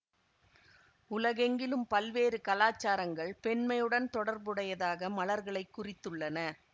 உலகெங்கிலும் பல்வேறு கலாச்சாரங்கள் பெண்மையுடன் தொடர்புடையதாக மலர்களைக் குறித்துள்ளன